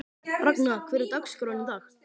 Ragna, hvernig er dagskráin í dag?